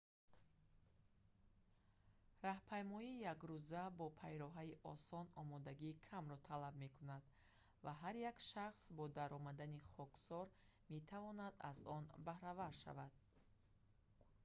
роҳпаймоии якрӯза бо пайроҳаи осон омодагии камро талаб мекунад ва ҳар як шахс бо даромади хоксор метавонад аз он баҳравар шавад